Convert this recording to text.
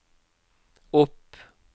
opp